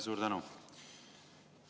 Suur tänu!